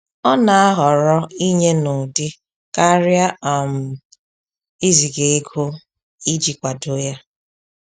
Ọ na aghọrọ inye n'ụdị karịa um iziga ego iji kwado ya